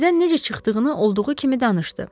Evdən necə çıxdığını olduğu kimi danışdı.